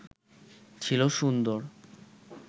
ছিল সুন্দর